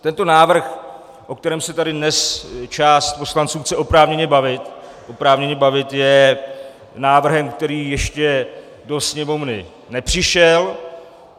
Tento návrh, o kterém se tady dnes část poslanců chce oprávněně bavit, oprávněně bavit, je návrhem, který ještě do sněmovny nepřišel.